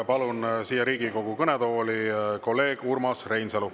Palun siia Riigikogu kõnetooli kolleeg Urmas Reinsalu.